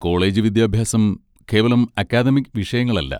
College വിദ്യാഭ്യാസം കേവലം academic വിഷയങ്ങളല്ല.